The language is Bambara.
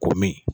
Ko min